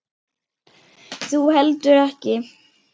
Þú heldur ekki.